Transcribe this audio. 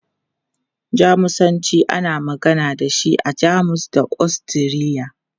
Jamusanci, ana magana da shi a Jamus da Ostiriya.